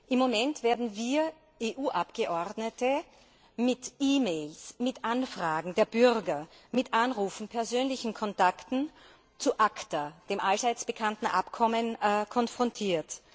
Im Moment werden wir EU Abgeordnete mit E Mails, mit Anfragen der Bürger, mit Anrufen und persönlichen Kontakten zu ACTA, dem allseits bekannten Abkommen konfrontiert.